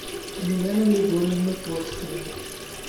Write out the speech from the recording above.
елена григорьевна польская